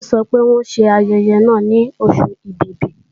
Kúnlé sọ pé wọ́n ṣe ayẹyẹ náà ní Oṣù Ẹ̀bìbì